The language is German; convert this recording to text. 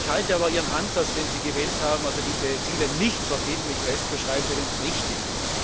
Ich halte aber Ihren Ansatz, den Sie gewählt haben, also diese Ziele nicht verbindlich festzuschreiben, für den richtigen.